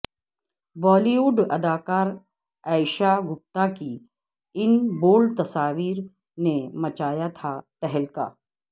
بالی would اداکارہ ایشا گپتا کی ان بولڈ تصاویر نے مچایا تھا تہلکہ